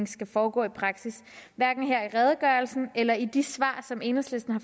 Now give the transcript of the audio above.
skal foregå i praksis hverken her i redegørelsen eller i de svar som enhedslisten har